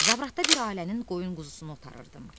Zabratda bir ailənin qoyun-quzusunu otarırdım.